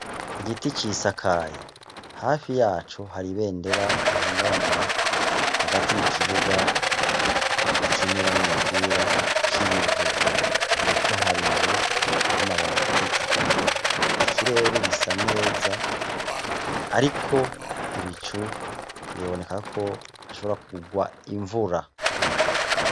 Igiti gisakaye hafi yaco hari ibendera rihungabanira hagati mukibuga bakiniramwo umupira c'ivu hepfo hari inzu y'amabati atukura, ikirere gisa neza ariko ibicu biboneka ko hashobora kurwa imvura.